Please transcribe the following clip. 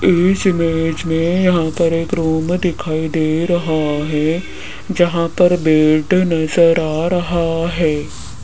इस इमेज में यहां पर एक रूम दिखाई दे रहा है जहां पर बेड नजर आ रहा है।